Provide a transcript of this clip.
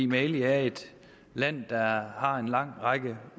mali er et land der har en lang række